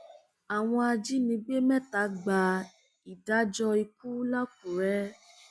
àwọn ajínigbé mẹta gba ìdájọ ikú làkúrẹ